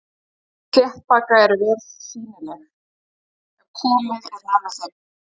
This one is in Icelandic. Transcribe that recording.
Hár sléttbaka eru vel sýnileg ef komið er nærri þeim.